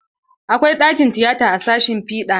Akwai ɗakin tiyata a sashin fiɗa.